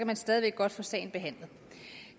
man stadig væk godt få sagen behandlet